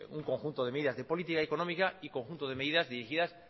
un conjunto de medidas de política económica y conjunto de medidas dirigidas